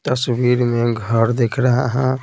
तस्वीर में घर देख रहा है।